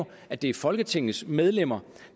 at det er folketingets medlemmer